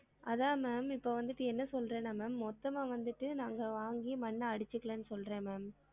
அதான் ma'am இப்ப வந்திட்டு என்ன சொல்றேன்னா ma'am மொத்தம்மா வந்திட்டு நாங்க வாங்கி மண்ண அடிச்சிகலாம்னு சொல்றேன் ma'am